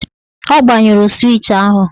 Ọ gbanyụrụ swịch ahụ